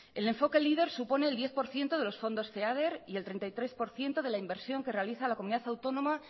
el enfoque leader supone el diez por ciento de los fondos feader y el treinta y tres por ciento de la inversión que realiza la comunidad autónoma